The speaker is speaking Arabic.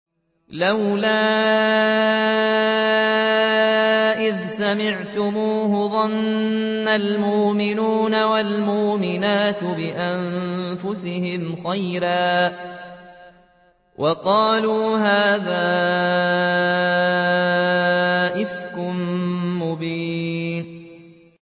لَّوْلَا إِذْ سَمِعْتُمُوهُ ظَنَّ الْمُؤْمِنُونَ وَالْمُؤْمِنَاتُ بِأَنفُسِهِمْ خَيْرًا وَقَالُوا هَٰذَا إِفْكٌ مُّبِينٌ